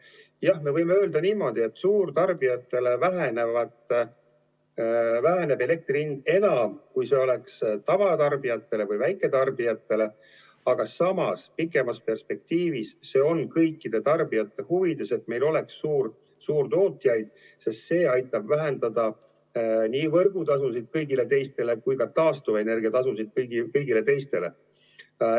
Jah, me võime öelda, et suurtarbijatele väheneb elektri hind enam, kui see oleks tavatarbijatel või väiketarbijatel, aga samas pikemas perspektiivis on see kõikide tarbijate huvides, et meil oleks suurtootjaid, sest see aitab vähendada nii võrgutasusid kui ka taastuvenergia tasusid kõigile teistele.